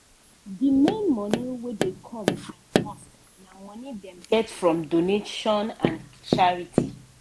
d main money wey dey come from mosque na money dem get from donation and charity.